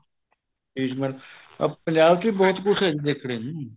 ਸ਼ੀਸ਼ ਮਹਿਲ ਪੰਜਾਬ ਵੀ ਬਹੁਤ ਕੁੱਝ ਹੈ ਜੀ ਦੇਖਣ ਨੂੰ